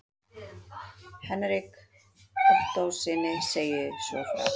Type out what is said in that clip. Hendrik Ottóssyni segist svo frá